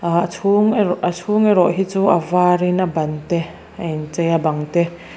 ah chhung erawh a chhung erawh hi chu a varin a ban te a inchei a bang te--